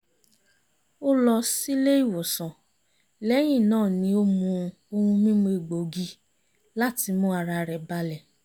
ó lọ sílé ìwòsàn lẹ́yìn náà ni ó mu ohun mímu egbògi láti mú ara rẹ̀ balẹ̀